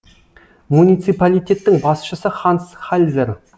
муниципалитеттің басшысы ханс хальзер